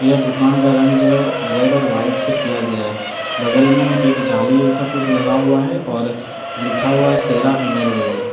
यह दुकान का रंग जो है रेड और व्हाइट से किया गया है बगल में एक जाली सब कुछ लगा हुआ है और लिखा हुआ है शेरा इनरवियर ।